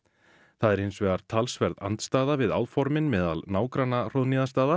það er hins vegar talsverð andstaða við áformin meðal nágranna